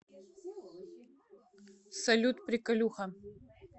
салют приколюха